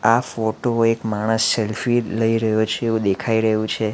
આ ફોટો એક માણસ સેલ્ફી લઈ રહ્યો છે એવું દેખાઈ રહ્યું છે.